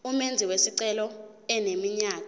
umenzi wesicelo eneminyaka